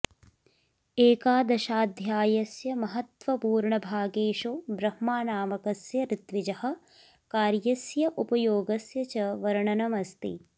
एकादशाऽध्यायस्य महत्त्वपूर्णभागेषु ब्रह्मानामकस्य ऋत्विजः कार्यस्य उपयोगस्य च वर्णनमस्ति